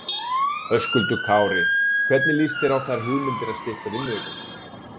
Höskuldur Kári: Hvernig lýst þér á þær hugmyndir að stytta vinnuviku?